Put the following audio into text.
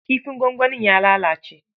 Kifin gwangwanin ya lalace.